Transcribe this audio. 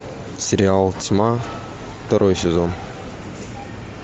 сериал тьма второй сезон